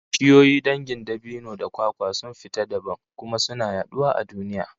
Bishiyoyi dangin dabino da kwakwa sun fita dabam, kuma suna yaduwa a duniya